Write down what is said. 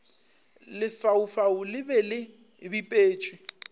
lefaufau le be le bipetšwe